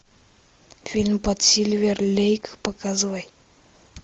фильм под сильвер лейк показывай